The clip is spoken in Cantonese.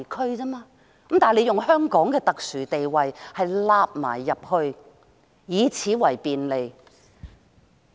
不過，他們卻只是利用香港的特殊地位，以此為便利。